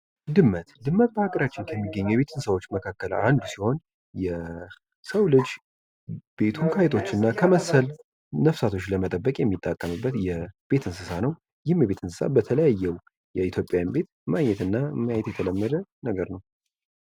ድመት በሀገራችን ከሚገኘው የቤት እንስሳዎች መካከል አንዱ ሲሆን የሰው ልጅ ቤቱን አይጦችና ከመሰል ነፍሳቶች ለመጠበቅ የሚጠቀመበት የቤት እንስሳ ነው።